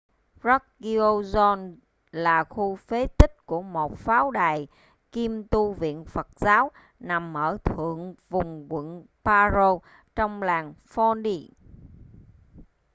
drukgyal dzong là khu phế tích của một pháo đài kiêm tu viện phật giáo nằm ở thượng vùng quận paro trong làng phondey